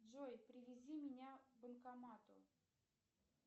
джой привези меня к банкомату